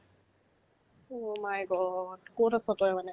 oh my god ক'ত আছ তই মানে